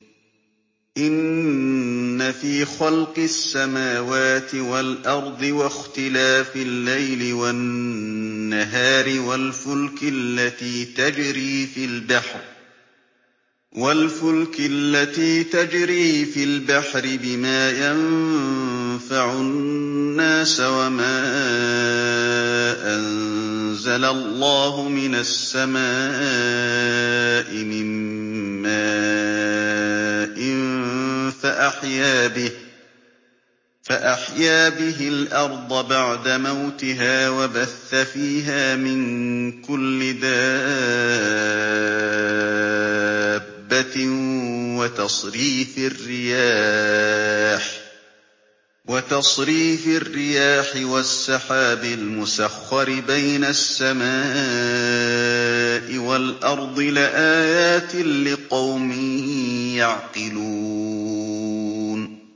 إِنَّ فِي خَلْقِ السَّمَاوَاتِ وَالْأَرْضِ وَاخْتِلَافِ اللَّيْلِ وَالنَّهَارِ وَالْفُلْكِ الَّتِي تَجْرِي فِي الْبَحْرِ بِمَا يَنفَعُ النَّاسَ وَمَا أَنزَلَ اللَّهُ مِنَ السَّمَاءِ مِن مَّاءٍ فَأَحْيَا بِهِ الْأَرْضَ بَعْدَ مَوْتِهَا وَبَثَّ فِيهَا مِن كُلِّ دَابَّةٍ وَتَصْرِيفِ الرِّيَاحِ وَالسَّحَابِ الْمُسَخَّرِ بَيْنَ السَّمَاءِ وَالْأَرْضِ لَآيَاتٍ لِّقَوْمٍ يَعْقِلُونَ